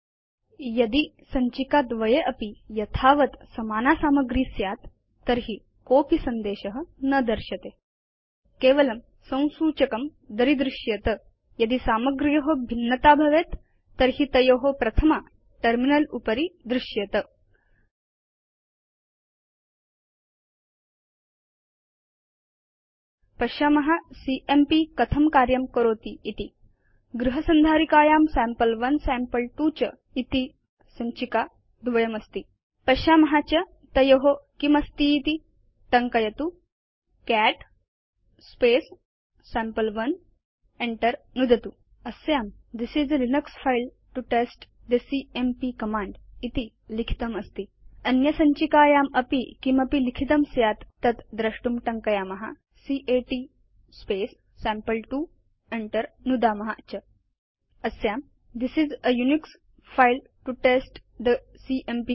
यदि सञ्चिका द्वये अपि यथावत् समाना सामग्री स्यात् तर्हि कोsपि सन्देश न दर्श्यते केवलं संसूचकं दरीदृश्येत यदि सामग्र्यो भिन्नता भवेत् तर्हि तयो प्रथमा टर्मिनल उपरि दृश्येत पश्याम सीएमपी कथं कार्यं करोति इति गृह संधारिकायां सैम्पल1 सैम्पल2 च सञ्चिका द्वयमस्ति पश्याम च तयो किमस्तीति160 टङ्कयतु कैट् सम्पे1 enter नुदतु च अस्यां this is a Linux file to test the CMP command इति लिखितमस्ति अन्य सञ्चिकायामपि किमपि लिखितं स्यात् तत् द्रष्टुं टङ्कयाम कैट् सैम्पल2 enter नुदाम च अस्यां this is a Unix file to test the CMP command